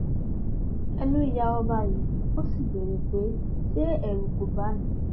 ẹnu ya ọba yìí ó sì béèrè pé ṣé ẹrù kó bà á ni